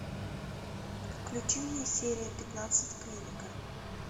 включи мне серия пятнадцать клиника